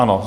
Ano.